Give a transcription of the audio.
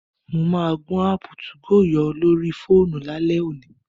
Mo máa gbọn áàpù 2go yọ lórí fóònù lálẹ́ òní